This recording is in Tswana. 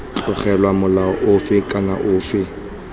tlogelwa molao ofe kana ofe